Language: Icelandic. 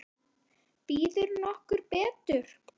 Býður nokkur betur?